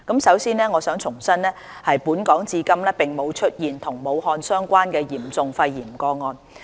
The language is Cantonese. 首先，我想重申本港至今並無出現與武漢相關的嚴重肺炎個案。